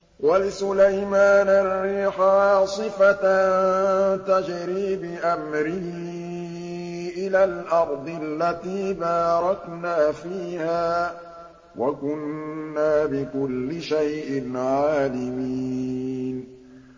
وَلِسُلَيْمَانَ الرِّيحَ عَاصِفَةً تَجْرِي بِأَمْرِهِ إِلَى الْأَرْضِ الَّتِي بَارَكْنَا فِيهَا ۚ وَكُنَّا بِكُلِّ شَيْءٍ عَالِمِينَ